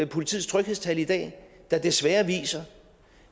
politiets tryghedstal i dag der desværre viser